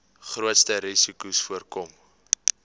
grootste risikos voorkom